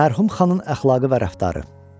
Mərhum xanın əxlaqı və rəftarı.